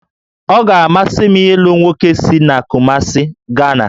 Ọ ga-amasị m ịlụ nwoke si Kumasị, Gana